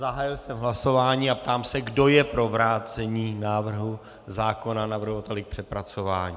Zahájil jsem hlasování a ptám se, kdo je pro vrácení návrhu zákona navrhovateli k přepracování.